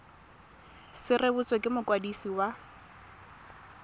se rebotswe ke mokwadisi wa